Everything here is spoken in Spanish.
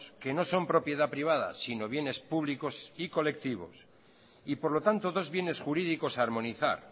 que no son propiedad privada sino bienes públicos y colectivos y por lo tanto dos bienes jurídicos a armonizar